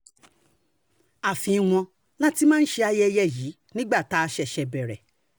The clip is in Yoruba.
ààfin wọn la ti máa ń ṣe ayẹyẹ yìí nígbà tá a ṣẹ̀ṣẹ̀ bẹ̀rẹ̀